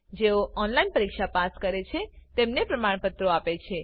જેઓ ઓનલાઈન પરીક્ષા પાસ કરે છે તેઓને પ્રમાણપત્રો આપે છે